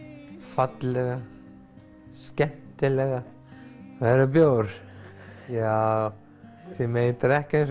fallega skemmtilega verður bjór já þið megið drekka eins